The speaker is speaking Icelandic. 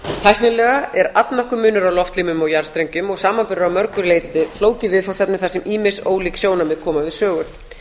tæknilega er allnokkur munur á loftlínum og jarðstrengjum og samanburður að mörgu leyti flókið viðfangsefni þar sem ýmis ólík sjónarmið koma við sögu